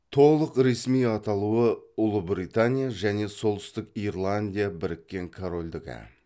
толық ресми аталуы ұлыбритания және солтүстік ирландия біріккен корольдігі